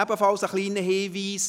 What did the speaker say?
Noch ein weiterer kleiner Hinweis: